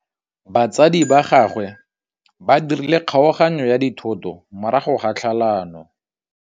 Batsadi ba gagwe ba dirile kgaoganyô ya dithoto morago ga tlhalanô.